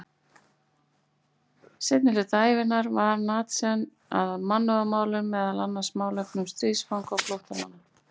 Seinni hluta ævinnar vann Nansen að mannúðarmálum, meðal annars málefnum stríðsfanga og flóttamanna.